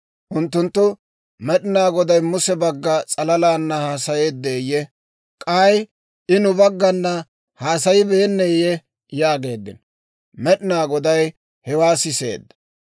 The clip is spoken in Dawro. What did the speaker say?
Unttunttu, «Med'inaa Goday Muse bagga s'alalana haasayeeddeyye? K'ay I nu baggana haasayibeenneeyye?» yaageeddino. Med'inaa Goday hewaa siseedda.